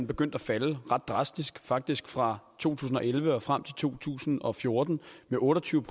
begyndte at falde ret drastisk faktisk fra to tusind og elleve og frem til to tusind og fjorten med otte og tyve